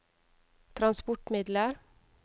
transportmidler